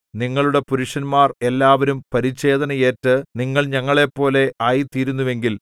നിങ്ങളുടെ പുരുഷന്മാർ എല്ലാവരും പരിച്ഛേദന ഏറ്റു നിങ്ങൾ ഞങ്ങളെപ്പോലെ ആയി തീരുമെങ്കിൽ